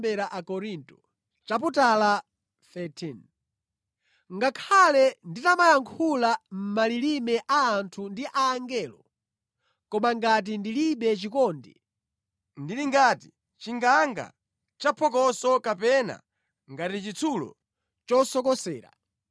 Ngakhale nditamayankhula mʼmalilime a anthu ndi a angelo, koma ngati ndilibe chikondi, ndili ngati chinganga chaphokoso kapena ngati chitsulo chosokosera.